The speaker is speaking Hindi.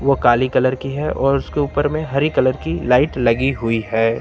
वो काले कलर की है और उसके ऊपर में हरे कलर की लाइट लगी हुई है।